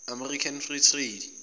american free trade